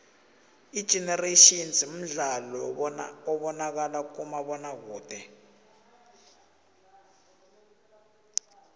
igenerations mdlalo obonakala kumabonakude